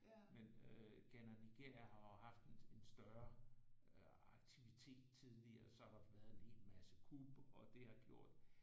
Men øh Ghana-Nigeria har jo haft en større øh aktivitet tidligere så har der været en hel masse kup og det har gjort